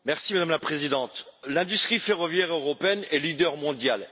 Madame la Présidente, l'industrie ferroviaire européenne est leader mondial.